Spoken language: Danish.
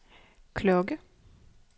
klokke